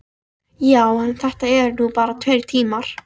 Já, en þetta eru nú bara tveir tímar.